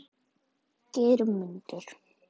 Geirmundur